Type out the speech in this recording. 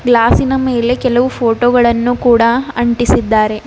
Glass ಇನ ಮೇಲೆ ಕೆಲವು ಫೋಟೋ ಗಳನ್ನು ಕೂಡ ಅಂಟಿಸಿದ್ದಾರೆ.